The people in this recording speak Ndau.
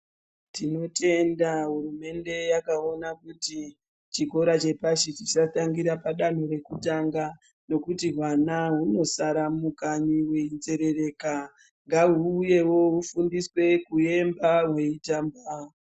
Tinotenda hurumende yakaona kuti chikora chatangira padanho rekutanga nokuti mwana unosara mukanyi uvenzengereka uyewo kufundiswe kuimba, kutamba.